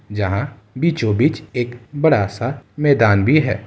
जहाँ बीचों-बिच एक बड़ा सा मैदान भी है।